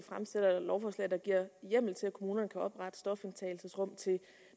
lovforslag der giver hjemmel til at kommunerne kan oprette stofindtagelsesrum til